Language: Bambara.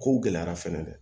Kow gɛlɛyara fɛnɛ dɛ